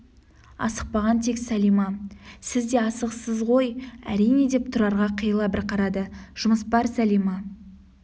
асықпаған тек сәлима сіз де асығыссыз ғой әрине деп тұрарға қиыла бір қарады жұмыс бар сәлима